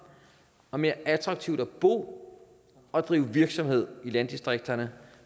og mere attraktivt at bo og drive virksomhed i landdistrikterne